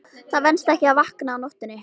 Það venst ekki að vakna á nóttunni.